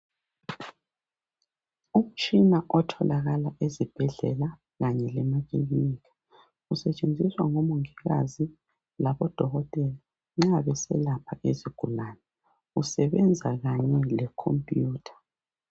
Umtshina otholakala ezibhedlela kanye lemakilinika. Usetshenziswa ngomongikazi labodokotela nxa beselapha izigulane. Usebenza kanye lekhomputha .